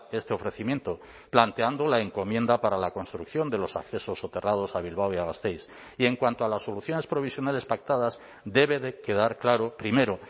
este ofrecimiento planteando la encomienda para la construcción de los accesos soterrados a bilbao y a gasteiz y en cuanto a las soluciones provisionales pactadas debe de quedar claro primero